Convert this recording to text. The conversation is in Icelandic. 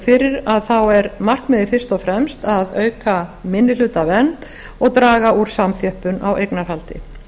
fyrir að markmiðið er fyrst og fremst að auka minnihlutavernd og draga úr samþjöppun á eignarhaldi